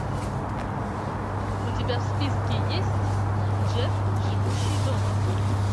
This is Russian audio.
у тебя в списке есть джефф живущий дома